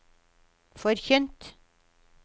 forkynt